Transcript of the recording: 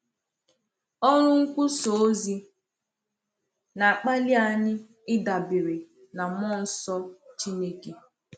Ọrụ nkwusà ozi na-akpali anyị ịdabere n’Mmụọ Nsọ Chineke.